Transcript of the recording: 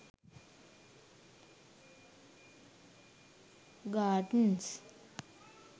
gardens